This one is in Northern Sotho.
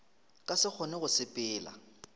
ka se kgone go sepela